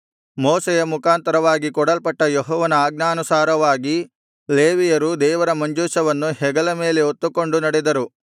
ಮೋಶೆಯ ಮುಖಾಂತರವಾಗಿ ಕೊಡಲ್ಪಟ್ಟ ಯೆಹೋವನ ಆಜ್ಞಾನುಸಾರವಾಗಿ ಲೇವಿಯರು ದೇವರ ಮಂಜೂಷವನ್ನು ಹೆಗಲ ಮೇಲೆ ಹೊತ್ತುಕೊಂಡು ನಡೆದರು